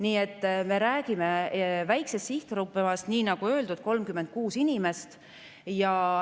Nii et me räägime väiksest sihtgrupist, nii nagu öeldud, 36 inimesest.